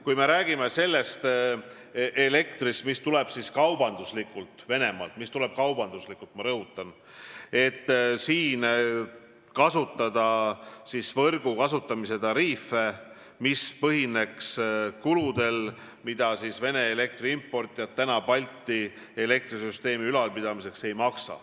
Kui me räägime kaubanduslikust elektrist, mis tuleb Venemaalt – kaubanduslikust, ma rõhutan –, siis siin võiks kasutada Balti elektrisüsteemi ülalpidamiseks võrgu kasutamise tariife, need põhineksid kuludel, mida Vene elektri importijad ei kata.